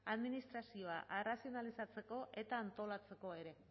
administrazioa arrazionalizatzeko eta antolatzeko ere